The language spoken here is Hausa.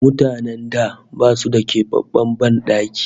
Mutanen da basu da kebabben ban daki